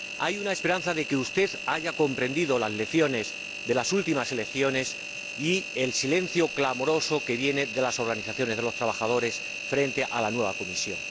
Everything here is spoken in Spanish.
Hay una esperanza de que usted haya comprendido las lecciones de las últimas elecciones y el silencio clamoroso de las organizaciones de los trabajadores frente a la nueva Comisión.